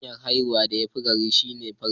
Hanya'n haifa da ya fi gama gari shine ta farji.